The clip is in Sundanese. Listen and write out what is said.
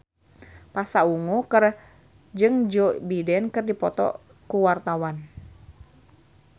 Pasha Ungu jeung Joe Biden keur dipoto ku wartawan